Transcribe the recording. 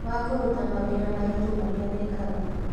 Wa kũruta mawĩra maritũ marĩa meekaga